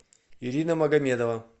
ирина магомедова